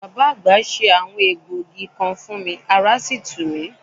Bàbá àgbà se àwọn egbògi kan fún mi, ará sì tù mí.